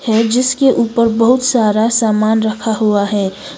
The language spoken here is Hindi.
और जिसके ऊपर बहुत सारा सामान रखा हुआ है।